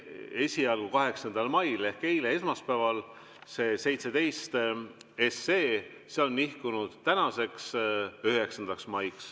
Esialgu 8. mail ehk eile, esmaspäeval olnud 17 SE on nihkunud tänasele päevale, 9. maile.